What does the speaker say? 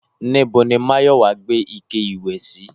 Níbo ni Máyọ̀wá gbé ike ìwẹ̀ sí?